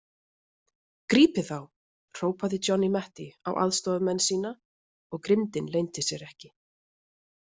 Grípið þá hrópaði Johnny Mate á aðstoðarmenn sína og grimmdin leyndi sér ekki.